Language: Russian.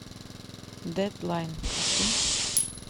дедлайн включи